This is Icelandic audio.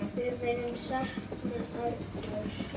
Við munum sakna Arnórs.